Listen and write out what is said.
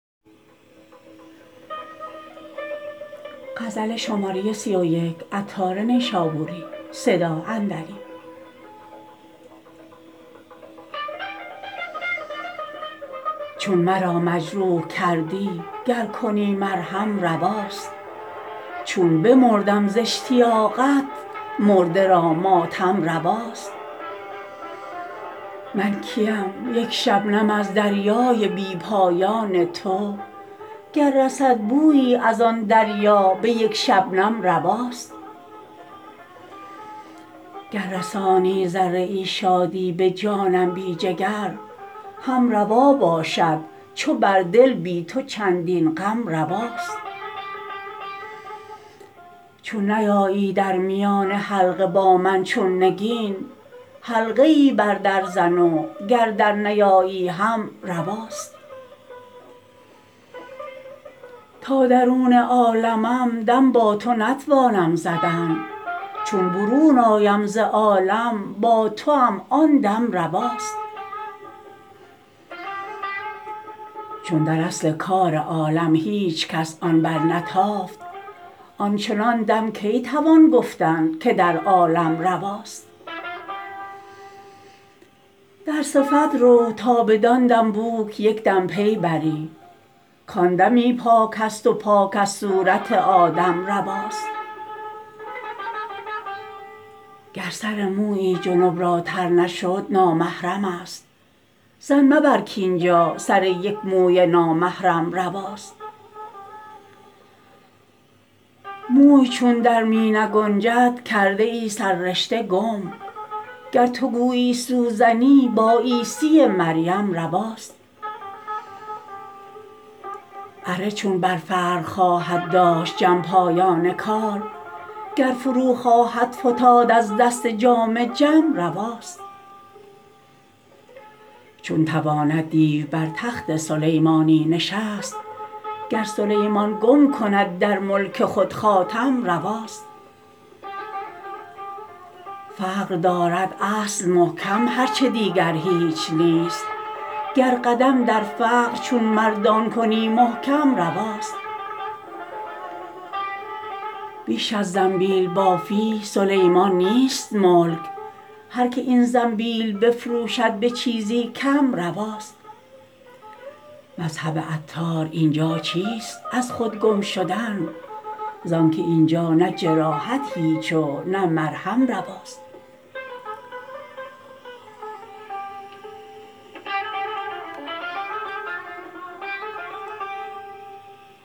چون مرا مجروح کردی گر کنی مرهم رواست چون بمردم ز اشتیاقت مرده را ماتم رواست من کیم یک شبنم از دریای بی پایان تو گر رسد بویی از آن دریا به یک شبنم رواست گر رسانی ذره ای شادی به جانم بی جگر هم روا باشد چو بر دل بی تو چندین غم رواست چون نیایی در میان حلقه با من چون نگین حلقه ای بر در زن و گر در نیایی هم رواست تا درون عالمم دم با تو نتوانم زدن چون برون آیم ز عالم با توام آن دم رواست چون در اصل کار عالم هیچکس آن برنتافت آنچنان دم کی توان گفتن که در عالم رواست در صفت رو تا بدان دم بوک یکدم پی بری کان دمی پاک است و پاک از صورت آدم رواست گر سر مویی جنب را تر نشد نامحرم است ظن مبر کاینجا سر یک موی نامحرم رواست موی چون در می نگنجد کرده ای سررشته گم گر تو گویی سوزنی با عیسی مریم رواست اره چون بر فرق خواهد داشت جم پایان کار گر فرو خواهد فتاد از دست جام جم رواست چون تواند دیو بر تخت سلیمانی نشست گر سلیمان گم کند در ملک خود خاتم رواست فقر دارد اصل محکم هرچه دیگر هیچ نیست گر قدم در فقر چون مردان کنی محکم رواست بیش از زنبیل بافی سلیمان نیست ملک هر که این زنبیل بفروشد به چیزی کم رواست مذهب عطار اینجا چیست از خود گم شدن زانکه اینجا نه جراحت هیچ و نه مرهم رواست